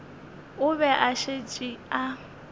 o be a šetše a